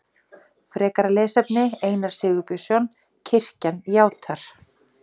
Frekara lesefni Einar Sigurbjörnsson: Kirkjan játar.